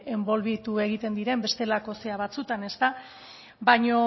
enbolbitu egiten diren bestelako zera batzuetan ezta baino